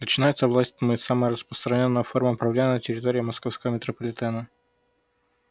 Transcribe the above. начинается власть тьмы самая распространённая форма правления на территории московского метрополитена